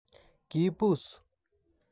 Kibuus.